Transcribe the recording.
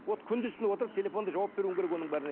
вот күндіз түні отырып телефонда жауап беруің керек оның бәріне